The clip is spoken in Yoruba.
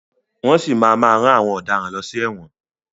Wọ́n si máa má rán àwọn ọ̀daràn lọ sí ẹ̀wọ̀n.